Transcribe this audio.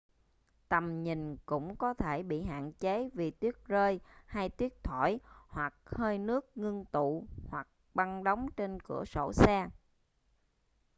tầm nhìn cũng có thể bị hạn chế vì tuyết rơi hay tuyết thổi hoặc hơi nước ngưng tụ hoặc băng đóng trên cửa sổ xe